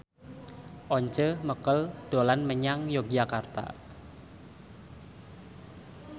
Once Mekel dolan menyang Yogyakarta